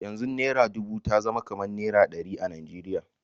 Yanzu naira dubu ta zama kamar naira ɗari a Najeriya.